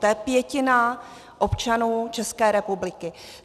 To je pětina občanů České republiky.